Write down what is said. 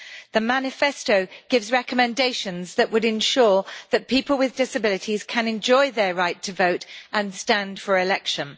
The manifesto gives recommendations that would ensure that people with disabilities can enjoy their right to vote and stand for election.